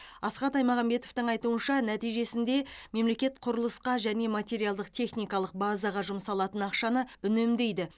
асхат аймағамбетовтің айтуынша нәтижесінде мемлекет құрылысқа және материалдық техникалық базаға жұмсалатын ақшаны үнемдейді